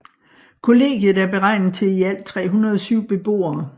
Kollegiet er beregnet til i alt 307 beboere